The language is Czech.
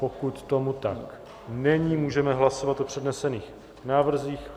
Pokud tomu tak není, můžeme hlasovat o přednesených návrzích.